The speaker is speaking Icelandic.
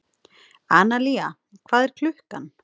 Analía, hvað er klukkan?